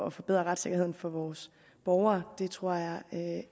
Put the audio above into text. at forbedre retssikkerheden for vores borgere det tror jeg